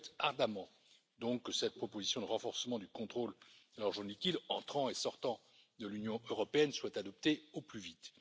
Je souhaite donc ardemment que cette proposition de renforcement du contrôle de l'argent liquide entrant et sortant de l'Union européenne soit adoptée au plus vite.